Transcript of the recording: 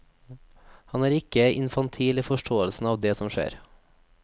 Han er ikke infantil i forståelsen av det som skjer.